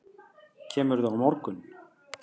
Kemurðu á morgun?